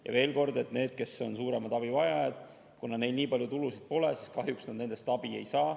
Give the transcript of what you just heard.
Ja veel kord: kuna nendel, kes on suuremad abivajajad, nii palju tulusid pole, siis kahjuks nad nendest abi ei saa.